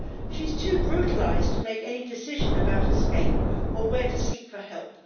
She is too brutalised to make any decision about escape or where to seek for help.